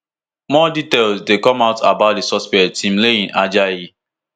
more details dey come out about di suspect timileyin ajayi